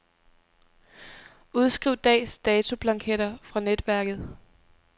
Udskriv dags datoblanketter fra netværket.